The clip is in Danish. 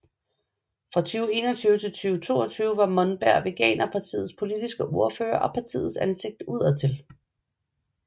Fra 2021 til 2022 var Monberg veganerpartiets politiske ordfører og partiets ansigt udadtil